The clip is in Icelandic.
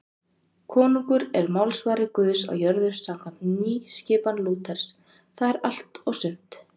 Konungur er málsvari Guðs á jörðu samkvæmt nýskipan Lúters, það er allt og sumt.